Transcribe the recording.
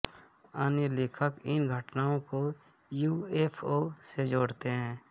अन्य लेखक इन घटनाओं को युऍफ़ओ से जोड़ते हैं